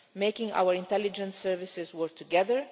making our intelligence services work together